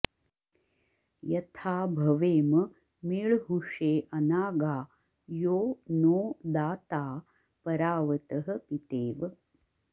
यथा भवेम मीळ्हुषे अनागा यो नो दाता परावतः पितेव